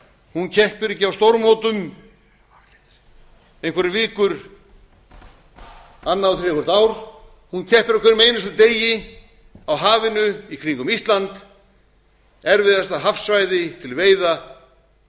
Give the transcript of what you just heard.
hún keppir ekki á stórmótum einhverjar vikur annað og þriðja hvert ár hún keppir á hverjum einasta degi á hafinu í kringum ísland erfiðasta hafsvæði til veiða á